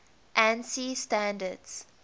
ansi standards